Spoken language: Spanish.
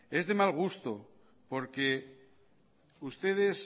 es de mal gusto porque ustedes